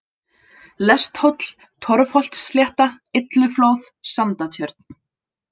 Lesthóll, Torfholtsslétta, Illuflóð, Sandatjörn